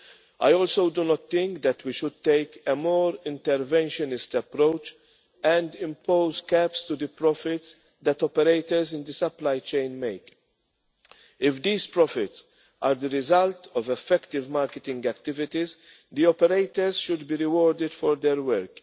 target. I also do not think that we should take a more interventionist approach and impose caps on the profits that operators in the supply chain make. If these profits are the result of effective marketing activities, the operators should be rewarded for their